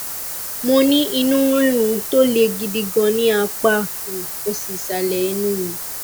mo ní inú rírun tó le gidi gan ní apá um òsì ìsàlẹ inú mi